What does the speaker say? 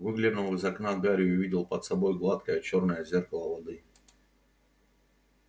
выглянул из окна гарри увидел под собой гладкое чёрное зеркало воды